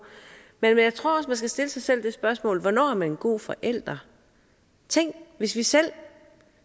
men jeg tror også stille sig selv det spørgsmål hvornår man er en god forælder tænk hvis vi selv